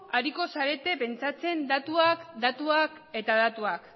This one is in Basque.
ariko zarete pentsatzen datuak datuak eta datuak